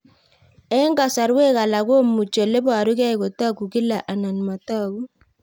Eng' kasarwek alak komuchi ole parukei kotag'u kila anan matag'u